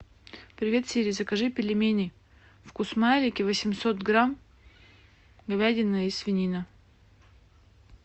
привет сири закажи пельмени вкусмайлики восемьсот грамм говядина и свинина